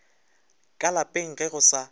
ka lapeng ge go sa